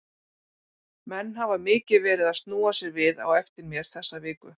Menn hafa mikið verið að snúa sér við á eftir mér þessa viku.